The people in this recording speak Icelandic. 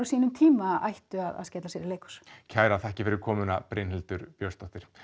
sínum tíma skelli sér í leikhús kærar þakkir fyrir komuna Brynhildur Björnsdóttir